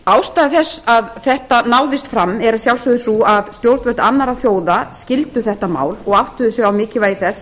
ástæða þess að þetta náðist fram er að sjálfsögðu sú að stjórnvöld annarra þjóða skildu þetta mál og áttuðu sig á mikilvægi þess